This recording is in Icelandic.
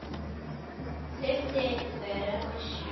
Hleypti einhver af byssu?